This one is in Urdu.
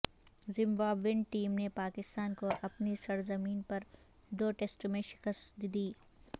زمبابوین ٹیم نے پاکستان کو اپنی سرزمین پر دو ٹیسٹ میں شکست دی